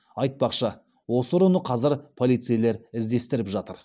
айтпақшы осы ұрыны қазір полицейлер іздестіріп жатыр